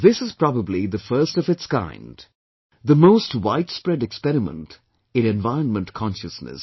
This is probably the first of its kind, the most widespread experiment in environment consciousness